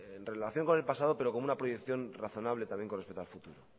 en relación con el pasado pero con una proyección razonable también con respecto al futuro